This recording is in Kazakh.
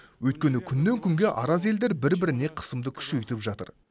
өйткені күннен күнге араз елдер бір біріне қысымды күшейтіп жатыр